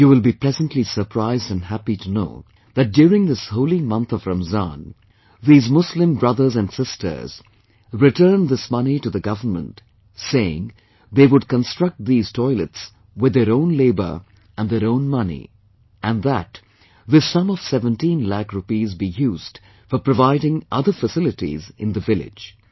You will be pleasantly surprised and happy to know that, during this holy month of Ramzan, these Muslim brothers and sisters, returned this money to the government, saying, they would construct these toilets with their own labour and their own money; and that this sum of 17 lakh rupees be used for providing other facilities in the village